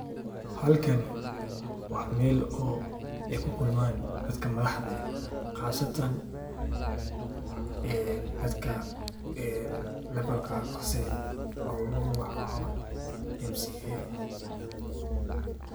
Hlkani wa meel oo kukulman dadkan madaxda eh qasatan dadka levalka hoose ee oguwacan mca.